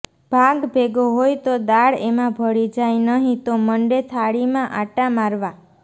ભાત ભેગો હોય તો દાળ એમાં ભળી જાય નહીં તો મંડે થાળીમાં આંટા મારવા